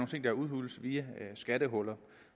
ting der udhules via skattehuller